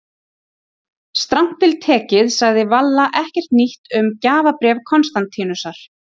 Strangt til tekið sagði Valla ekkert nýtt um gjafabréf Konstantínusar.